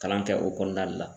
Kalan kɛ o kɔnɔna ne la